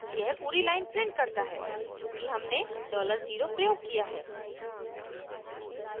यह पूरी line prints करता है चूँकि हमने $0 प्रयोग किया है